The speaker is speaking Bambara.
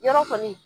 Yɔrɔ kɔni